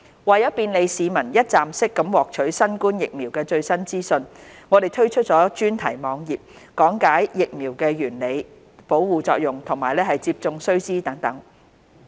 為便利市民一站式獲取新冠疫苗的最新資訊，我們推出專題網頁，講解疫苗原理、保護作用和接種須知等。